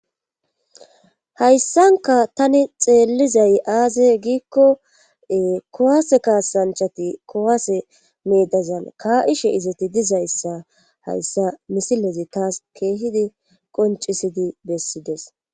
hayssanka tani xeellizay aaze giikko kowase kaasanchati kowaase meedazan ka7ishe izati dizayssa hayssa misilezi taas keehidi qoncisidi bessides